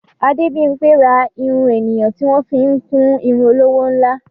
Adébímpé ra irun ènìyàn tí wọ́n fi ń kún irun olówó ńlá.